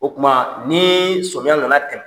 O kuma ni somiya nana